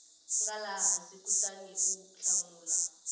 nga laha hansi kutaniu hlamula